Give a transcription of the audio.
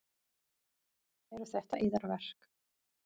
Eru þetta yðar verk?